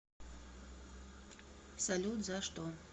салют за что